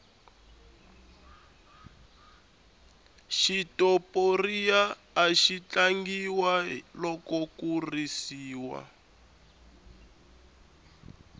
xitoporiya axi tlangiwa loko ku risiwa